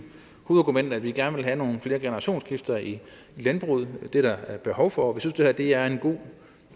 hovedargument at vi gerne vil have nogle flere generationsskifter i landbruget det er der behov for og vi synes at det her er en god og